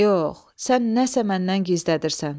Yox, sən nəsə məndən gizlədirsən.